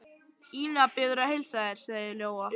Ína biður að heilsa þér, sagði Lóa.